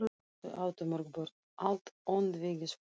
Þau áttu mörg börn, allt öndvegisfólk.